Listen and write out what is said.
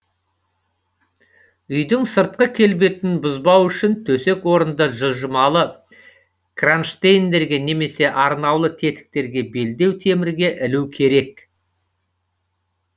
үйдің сыртқы келбетін бұзбау үшін төсек орынды жылжымалы кронштейндерге немесе арнаулы тетіктерге белдеу темірге ілу керек